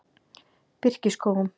Birkiskógum